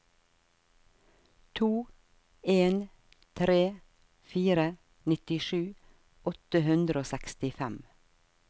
to en tre fire nittisju åtte hundre og sekstifem